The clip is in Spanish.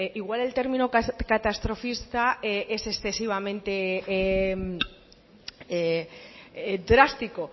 igual el término catastrofista es excesivamente drástico